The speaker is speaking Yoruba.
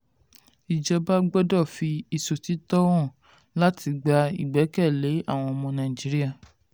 um ìjọba gbọ́dọ̀ fi ìṣòtítọ́ hàn láti gba ìgbẹ́kẹ̀lé àwọn ọmọ um nàìjíríà.